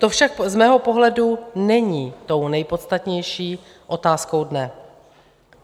To však z mého pohledu není tou nejpodstatnější otázkou dne.